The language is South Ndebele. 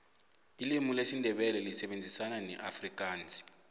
ilimu lesindebele lisebenzisana neafikansi